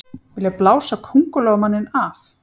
Vilja blása Kóngulóarmanninn af